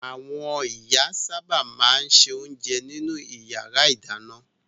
Àwọn ìyá sábà máa ń se oúnjẹ nínú ìyàrá-ìdáná.